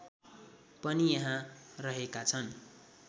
पनि यहाँ रहेका छन्